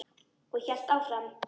Og hélt áfram: